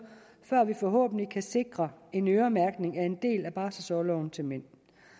før vi forhåbentlig kan sikre en øremærkning af en del af barselsorloven til mænd